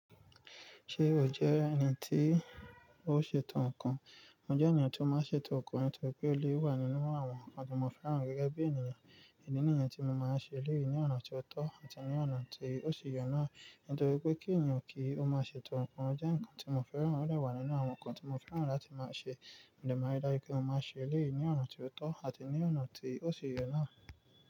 Ṣé o jẹ́ ẹni tí ó ṣètò ǹkan? Mo jẹ́ ènìyàn tó máa ń ṣètò ǹkan nítorí pé ó lé wà nínú àwọn ǹkan tí mo fẹ́ràn gẹ́gẹ́ bí ènìyàn. Ìdí nìyẹn tí mo máa ń ṣe léè ní ọ̀nà tí ó tọ́ àti ní ọ̀nà tí ó ṣe yọ ní. Nítorí pé kí ènìyàn kí ó máa ṣètò ǹkan jẹ́ ǹkan tí mo fẹ́ràn odẹ̀ wà nínú àwọn ǹkan tí mo fẹ́ràn láti máa ṣe. Mòdẹ máa ri dáju pé mo máa ṣe léè ní ọ̀nà tí ó tọ́ àti ní ọ̀nà tí ó ṣi yẹ náà.